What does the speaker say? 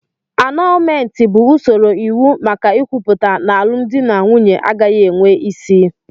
Anọọlmentị bụ usoro iwu maka ikwuputa n'alụmdi na nwunye agaghị enwe isi.